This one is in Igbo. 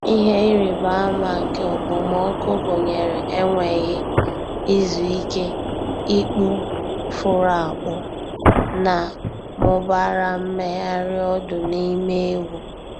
Ihe ịrịba ama nke okpomọkụ gụnyere enweghị izu ike, ikpu furu akpụ, na mụbara mmegharị ọdụ n’ime ewu.